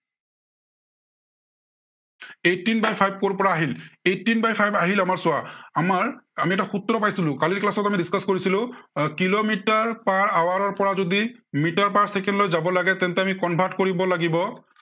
eighteen by five কৰ পৰা আহিল, eighteen by five আহিল আমাৰ চোৱা, আমাৰ আমি এটা সূত্ৰ পাইছিলো, কালিৰ class ত আমি discuss কৰিছিলো এৰ কিলোমিটাৰ per hour ৰ পৰা যদি মিটাৰ per second লৈ যাব লাগে তেন্তে আমি convert কৰিব লাগিব।